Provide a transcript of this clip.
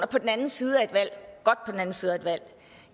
på den anden side af et valg